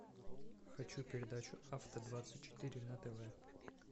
хочу передачу авто двадцать четыре на тв